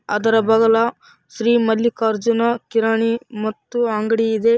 ಅದರ ಬಗಲ ಶ್ರೀ ಮಲ್ಲಿಕಾರ್ಜುನ ಕಿರಾಣಿ ಮತ್ತು ಅಂಗಡಿ ಇದೆ.